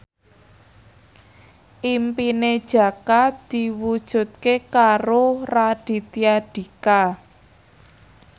impine Jaka diwujudke karo Raditya Dika